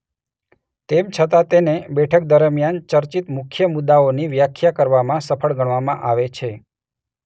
તેમ છતાં તેને બેઠક દરમિયાન ચર્ચિત મુખ્ય મુદ્દાઓની વ્યાખ્યા કરવામાં સફળ ગણવામાં આવે છે.